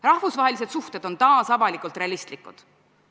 Rahvusvahelised suhted on taas avalikult realistlikud.